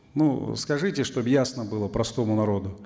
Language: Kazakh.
ну скажите чтобы ясно было простому народу